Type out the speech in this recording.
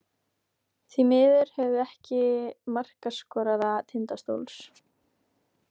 Því miður höfum við ekki markaskorara Tindastóls.